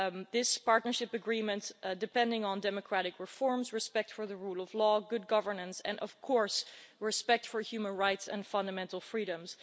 this partnership agreement, depending on democratic reforms, respect for the rule of law, good governance and respect for human rights and fundamental freedoms.